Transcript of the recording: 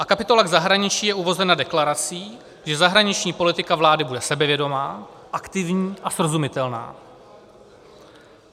A kapitola k zahraničí je uvozena deklarací, že zahraniční politika vlády bude sebevědomá, aktivní a srozumitelná.